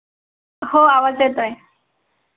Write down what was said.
हो आवाज येतोय.